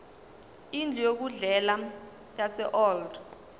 indlu yokudlela yaseold